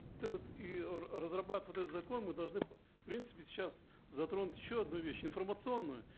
этот и разрабатывая вот этот закон мы должны в принципе сейчас затронуть еще одну вещь информационную